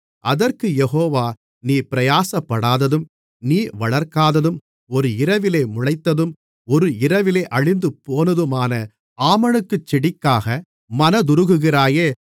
அதற்குக் யெகோவா நீ பிரயாசப்படாததும் நீ வளர்க்காததும் ஒரு இரவிலே முளைத்ததும் ஒரு இரவிலே அழிந்துபோனதுமான ஆமணக்குச் செடிக்காக மனதுருகுகிறாயே